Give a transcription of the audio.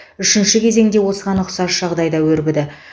үшінші кезең де осыған ұқсас жағдайда өрбіді